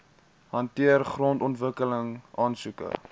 hanteer grondontwikkeling aansoeke